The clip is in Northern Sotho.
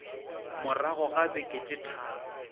morago ga beke tše tharo